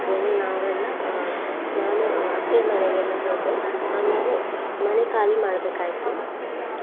ಅಂದ್ರೆ ನಾವು ಎಲ್ಲ ಅಹ್ ನಾನು ಅತ್ತೆ ಮನೆಗೆಲ್ಲ ಹೋದೆ ಆಮೇಲೆ ಮನೆ ಖಾಲಿ ಮಾಡ್ಬೇಕಾಯ್ತು.